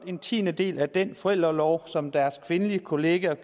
en tiendedel af den forældreorlov som deres kvindelige kollegaer